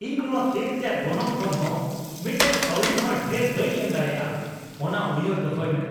ᱤᱧ ᱱᱚᱶᱟ ᱠᱮᱠ ᱨᱮᱭᱟᱜ ᱜᱚᱱᱚᱝ ᱠᱷᱚᱱ ᱦᱚᱸ ᱢᱤᱫᱴᱟᱝ ᱠᱟᱹᱣᱰᱤᱦᱚᱸ ᱰᱷᱮᱨ ᱵᱟᱹᱧ ᱮᱢ ᱫᱟᱲᱮᱭᱟᱜᱼᱟ ᱾ ᱚᱱᱟ ᱩᱭᱦᱟᱹᱨ ᱫᱚᱦᱚᱭ ᱢᱮ !